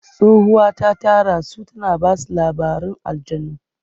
Tsohuwa ta tara su tana ba su labarin aljannu.